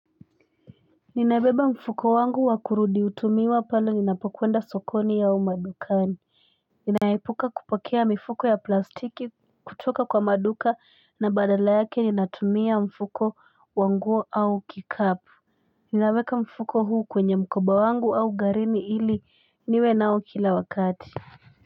Ninabeba mfuko wangu wa kurudi utumiwa pale ninapokwenda sokoni au madukani Ninaepuka kupokea mifuko ya plastiki kutoka kwa maduka na badala yake ninatumia mfuko wangu au kikapu Ninaweka mfuko huu kwenye mkoba wangu au garini ili niwe nao kila wakati.